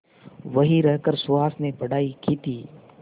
वहीं रहकर सुहास ने पढ़ाई की थी